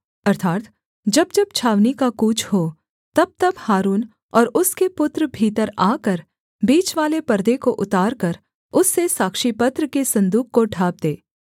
अर्थात् जब जब छावनी का कूच हो तबतब हारून और उसके पुत्र भीतर आकर बीचवाले पर्दे को उतार कर उससे साक्षीपत्र के सन्दूक को ढाँप दें